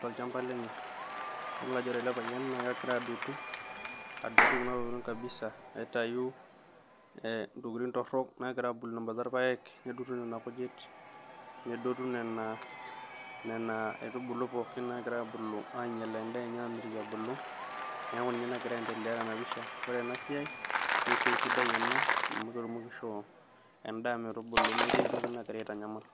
toolchampa lenye idol ajo wore ele payian naa kegira adotu, adotu kuna tokiting kabisa aitayu eeh intokitin torok nagira abulu tembata irpayiek netungu nena kujit nedotu nena nena aitubulu nagira abulu ainyal endaa enye amitiki ebulu, niaku ninye nagira aendelea tena pisha. Wore enasiai naa esiai sidai enaa amu ketumoki atubulu metii entoki nagira aitanyamal.